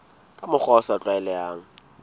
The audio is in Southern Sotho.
ka mokgwa o sa tlwaelehang